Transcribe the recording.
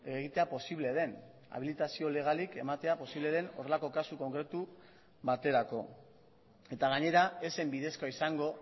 egitea posible den abilitazio legalik ematea posible den horrelako kasu konkretu baterako eta gainera ez zen bidezkoa izango